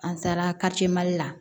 An taara la